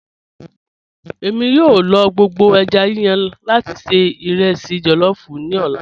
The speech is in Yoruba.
Ẹ̀mi yòó lọ gbogbo èjá yíyàn lati ṣẹ̀ irẹsí jollof ni ọlá.